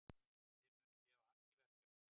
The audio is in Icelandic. Við munum gefa allt í verkefnið.